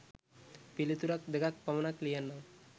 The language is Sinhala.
පිළිතුරක් දෙකක් පමණක් ලියන්නම්.